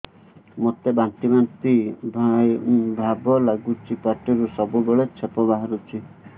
ମୋତେ ବାନ୍ତି ବାନ୍ତି ଭାବ ଲାଗୁଚି ପାଟିରୁ ସବୁ ବେଳେ ଛିପ ବାହାରୁଛି